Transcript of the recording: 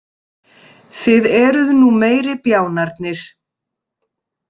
Þið eruð nú meiri bjánarnir.